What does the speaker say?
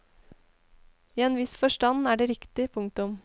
I en viss forstand er det riktig. punktum